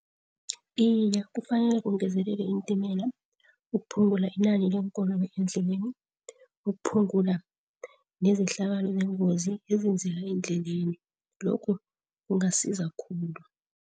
Iye, kufanele kungezelelwe iintimela ukuphungula inani leenkoloyi eendleleni. Ukuphungula nezehlakalo zeengozi ezenzeka endleleni, lokhu kungasiza khulu.